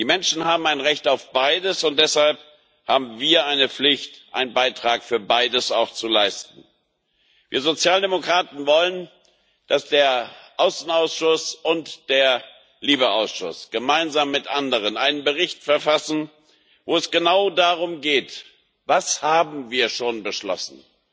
Die Menschen haben ein Recht auf beides, und deshalb haben wir eine Pflicht, auch einen Beitrag für beides zu leisten. Wir Sozialdemokraten wollen, dass der Ausschuss für auswärtige Angelegenheiten und der LIBE Ausschuss gemeinsam mit anderen einen Bericht verfassen, wo es genau darum geht Was haben wir schon beschlossen?